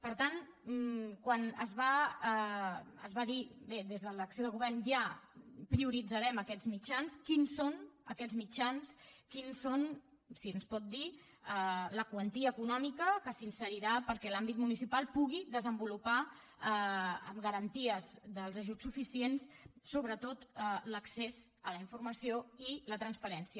per tant quan es va dir bé des de l’acció de govern ja prioritzarem aquests mitjans quins són aquests mitjans quins són si ens pot dir la quantia econòmica que s’inserirà perquè l’àmbit municipal pugui desenvolupar amb garanties dels ajuts suficients sobretot l’accés a la informació i la transparència